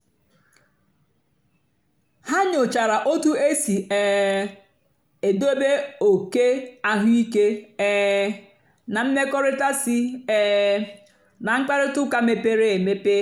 ha nyòchàra otú èsì um èdòbé òké àhụ́ìké um na mmèkọ̀rị̀ta sí um ná mkpáịrịtà ụ́ka mepèrè emepè.